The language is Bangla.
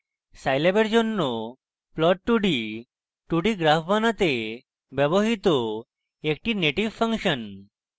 scilab for জন্য plot 2d 2d graphs বানাতে ব্যবহৃত একটি native ফাংশন